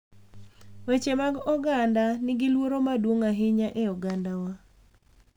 Weche mag oganda nigi luoro maduong' ahinya e ogandawa